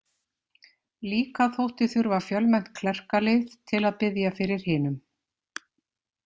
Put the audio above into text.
Líka þótti þurfa fjölmennt klerkalið til að biðja fyrir hinum.